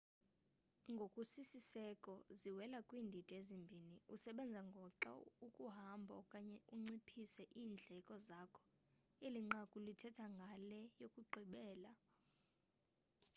ngokusisiseko ziwela kwiindidi ezimbini usebenza ngoxa ukuhambo okanye unciphise iindleko zakho eli nqaku lithetha ngale yokugqibela